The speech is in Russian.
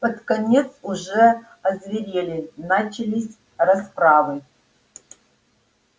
под конец уже озверели начались расправы